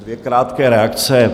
Dvě krátké reakce.